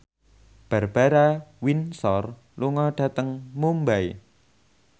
Barbara Windsor lunga dhateng Mumbai